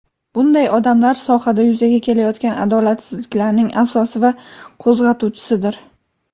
bunday odamlar sohada yuzaga kelayotgan adolatsizliklarning asosi va qo‘zg‘atuvchisidir.